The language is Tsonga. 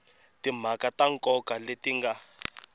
timhaka ta nkoka leti nga